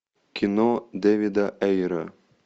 кино дэвида эйра